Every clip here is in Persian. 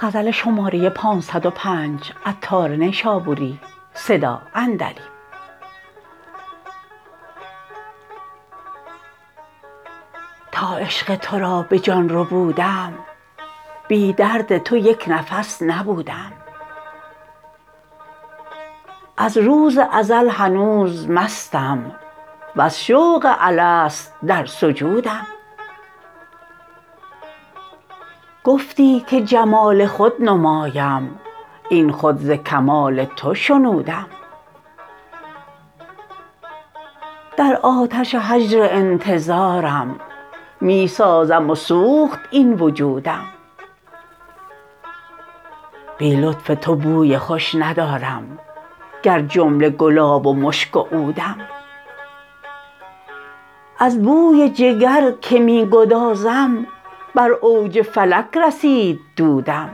تا عشق تو را به جان ربودم بی درد تو یک نفس نبودم از روز ازل هنوز مستم وز شوق الست در سجودم گفتی که جمال خود نمایم این خود ز کمال تو شنودم در آتش هجر انتظارم می سازم و سوخت این وجودم بی لطف تو بوی خوش ندارم گر جمله گلاب و مشک و عودم از بوی جگر که می گدازم بر اوج فلک رسید دودم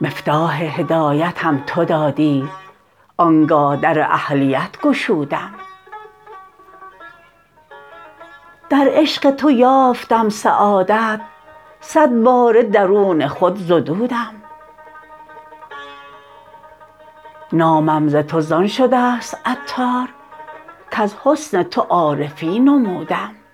مفتاح هدایتم تو دادی آنگه در اهلیت گشودم در عشق تو یافتم سعادت صد باره درون خود زدودم نامم ز تو زان شده است عطار کز حسن تو عارفی نمودم